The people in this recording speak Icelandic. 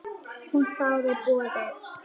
Hún þáði boðið.